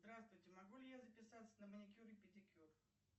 здравствуйте могу ли я записаться на маникюр и педикюр